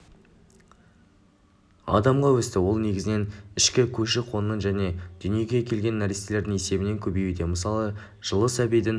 адамға өсті ол негізінен ішкі көші-қонның және дүниеге келген нәрестелердің есебінен көбеюде мысалы жылы сәбидің